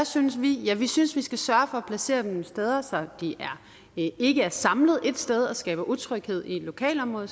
synes vi ja vi synes at vi skal sørge for at placere dem nogle steder så de ikke er samlet et sted og skaber utryghed i et lokalområde